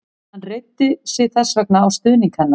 Hann reiddi sig þess vegna á stuðning hennar.